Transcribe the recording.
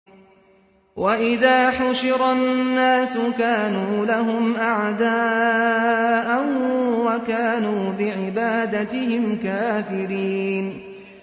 وَإِذَا حُشِرَ النَّاسُ كَانُوا لَهُمْ أَعْدَاءً وَكَانُوا بِعِبَادَتِهِمْ كَافِرِينَ